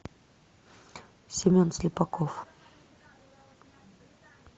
семен слепаков